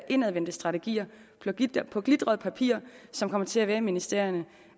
indadvendte strategier på glitret papir som kommer til at være i ministerierne